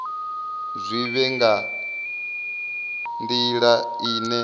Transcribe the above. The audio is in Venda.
zwi vhe nga nila ine